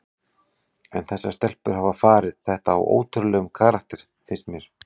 En þessar stelpur hafa farið þetta á ótrúlegum karakter finnst mér.